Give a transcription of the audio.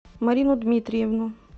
марину дмитриевну